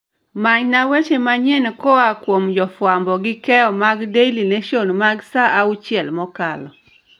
manyna weche manyien koa jofwamb gi keyo mag daily nation mag saa auchiel mokalo